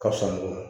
Ka fisa nɔgɔ